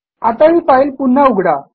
आता ही फाईल पुन्हा उघडा